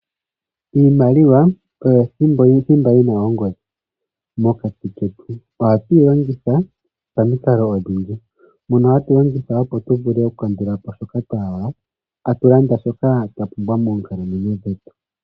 Iimaliwa oyo thimba yina ongodhi mokati ketu, oha twilongitha paminkalo odhindji, pono hatwilongitha opo tuvule oku kandulapo shoka twahala, hatulanda shoka twapumbwa moonkalamwenyo dhetu.